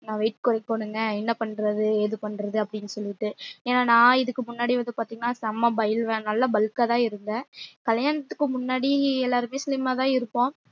நா weight கொறைக்கனுங்க என்ன பண்றது எது பண்றது அப்டினு சொல்லிட்டு ஏன்ன நா இதுக்கு முன்னாடி வந்து பாத்திங்கனா செம்ம பைல்வான் நல்ல bulk ஆ தான் இருந்தன் கல்யாணதுக்கு முன்னாடி எல்லாருமே slim ஆ தான் இருப்போம்